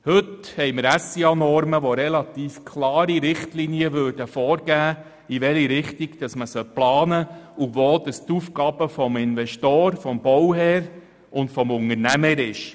Heute haben wir SIA-Normen, welche relativ klare Richtlinien vorgeben, dahingehend, in welche Richtung geplant werden soll und wo die Aufgabe des Investors beziehungsweise des Bauherrn und des Unternehmers ist.